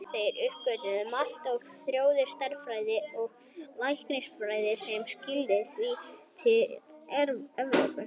Þeir uppgötvuðu margt og þróuðu stærðfræði og læknisfræði sem skilaði sér síðar til Evrópu.